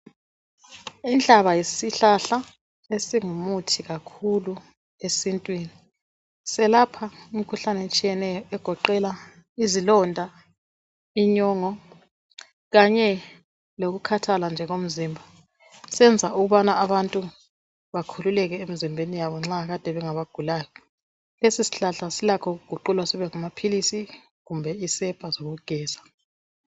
Inhlaba yisihlahla esingumuthi kakhulu esintwini. Selapha imikhuhlane etshiyeneyo okugoqela izilonda, inyongo kanye lokukhathalanje komzimba. Senza abantu bakhululeke emzimbeni yabo nxa kande bengabagulayo. Lesi sihlahla ukuguqulwa sibe ngamaphilizi kumbe isepha zokugeza.